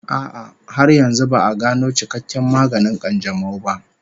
A'a, har yanzu ba'a gano cikakken maganin ƙanjamau ba